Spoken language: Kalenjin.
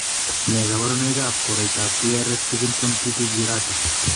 Nee kabarunoikab koroitoab Beare Stevenson cutis gyrata ?